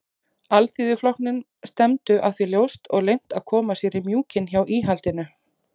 Alþýðuflokknum stefndu að því ljóst og leynt að koma sér í mjúkinn hjá íhaldinu.